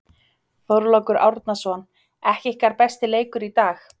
Þorlákur Árnason: Ekki ykkar besti leikur í dag?